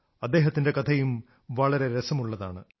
അദ്ദേഹത്തിന്റെ കഥയും വളരെ രസമുള്ളതാണ്